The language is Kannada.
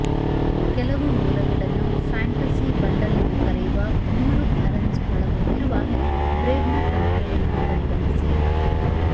ಕೆಲವು ಮೂಲಗಳನ್ನು ಫ್ಯಾಂಟಸಿ ಬಂಡಲ್ ಎಂದು ಕರೆಯುವ ಮೂರು ಅರನ್ಸ್ ಒಳಗೊಂಡಿರುವ ಬ್ರೇಡ್ನ ತಂತ್ರವನ್ನು ಪರಿಗಣಿಸಿ